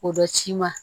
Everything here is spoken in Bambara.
O bɛ ci ma